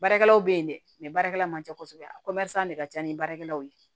Baarakɛlaw bɛ yen dɛ mɛ baarakɛla man ca kosɛbɛ a de ka ca ni baarakɛlaw ye